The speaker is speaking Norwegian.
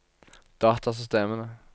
datasystemene